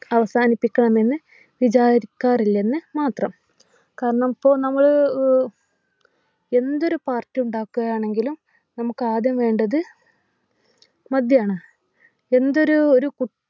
അവസാനിപ്പിക്കാമെന്നു വിചാരിക്കാറില്ലെന്നു മാത്രം കാരണം ഇപ്പൊ നമ്മള് ഏർ എന്തൊരു party ഉണ്ടാക്കുകയാണെങ്കിലും നമുക്കാദ്യം വേണ്ടത് മദ്യാണ് എന്തൊരു ഒരു കു